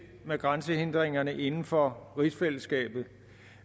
med grænsehindringerne inden for rigsfællesskabet